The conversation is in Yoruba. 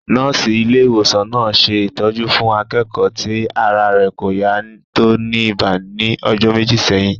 Nọ́ọ̀sì ilé ìwòsàn náà ṣe ìtọ́jú fún akẹ́kọ̀ọ́ ti ara rẹ̀ kò yá tó ní ibà ní ọjọ́ méjì sẹ́yìn